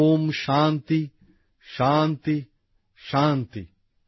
ওম শান্তিঃ শান্তিঃ শান্তিঃ